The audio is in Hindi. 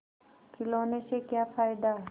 खिलौने से क्या फ़ायदा